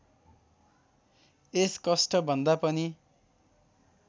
यस कष्टभन्दा पनि